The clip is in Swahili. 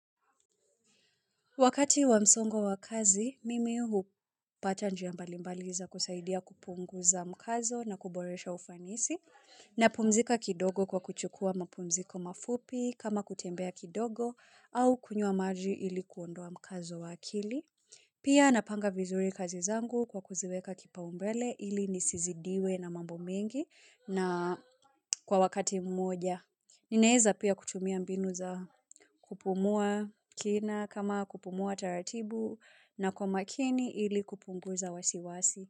Wakati wamsongo wa kazi, mimi hupata njia mbalimbaliza kusaidia kupunguza mkazo na kuboresha ufanisi na pumzika kidogo kwa kuchukua mapumziko mafupi kama kutembea kidogo au kunyua maji ili kuondoa mkazo wakili. Pia napanga vizuri kazi zangu kwa kuziweka kipaumbele ili nisizidiwe na mambo mengi na kwa wakati mmoja. Ninaeza pia kutumia mbinu za kupumua kina kama kupumua taratibu na kwa makini ili kupunguza wasiwasi.